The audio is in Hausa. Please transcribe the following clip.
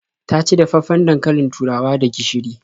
Ta ci dafaffen dankalin turawa da gishiri.